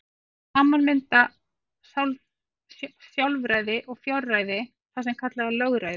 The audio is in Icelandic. Saman mynda sjálfræði og fjárræði það sem kallað er lögræði.